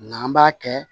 N'an b'a kɛ